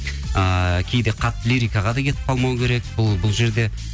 ыыы кейде қатты лирикаға да кетіп қалмау керек бұл жерде